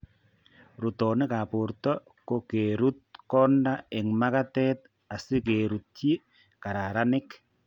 Ruutonik ab borto ko keruut kondaa eng' makatet asikeruutyi kararanik